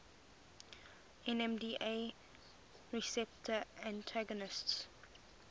nmda receptor antagonists